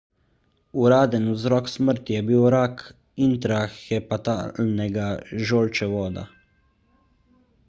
uraden vzrok smrti je bil rak intrahepatalnega žolčevoda